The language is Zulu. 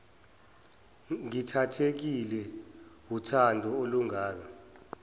ngithathekile wuthando olungaka